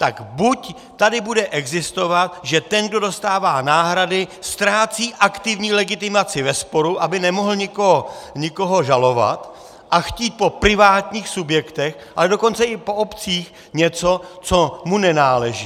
Tak buď tady bude existovat, že ten, kdo dostává náhrady, ztrácí aktivní legitimaci ve sporu, aby nemohl někoho žalovat a chtít po privátních subjektech, ale dokonce i po obcích něco, co mu nenáleží.